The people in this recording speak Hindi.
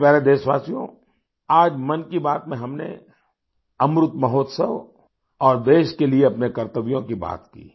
मेरे प्यारे देशवासियो आज मन की बात में हमने अमृत महोत्सव और देश के लिए अपने कर्तव्यों की बात की